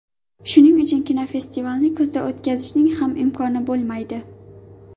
Shuning uchun kinofestivalni kuzda o‘tkazishning ham imkoni bo‘lmaydi.